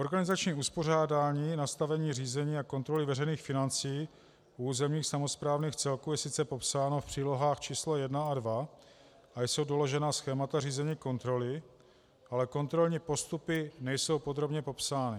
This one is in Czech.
Organizační uspořádání, nastavení řízení a kontroly veřejných financí u územních samosprávných celků je sice popsáno v přílohách č. 1 a 2, a jsou doložena schémata řízení kontroly, ale kontrolní postupy nejsou podrobně popsány.